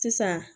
Sisan